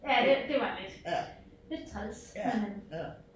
Ja det det var lidt lidt træls men øh